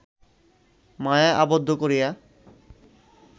মায়ায় আবদ্ধ করিয়া